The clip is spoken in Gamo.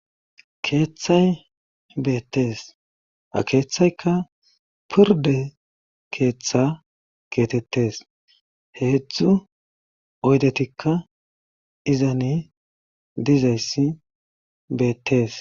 keeththay beettees a keeththayka purde keeththa keetettes heedzdzu oydetikka izani dizayssi beettees